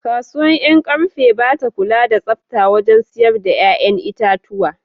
Kasuwar Yankarfe ba ta kula da tsafta wajen siyar da ‘ƴa’ƴan itatuwa.